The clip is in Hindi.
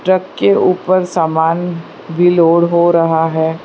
ट्रक के ऊपर सामान भी लोड हो रहा है।